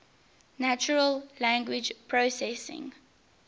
natural language processing